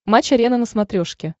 матч арена на смотрешке